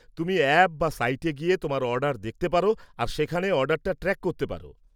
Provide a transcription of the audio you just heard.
তুমি অ্যাপ বা সাইটে গিয়ে তোমার অর্ডার দেখতে পার আর সেখানে অর্ডারটা ট্র্যাক করতে পার।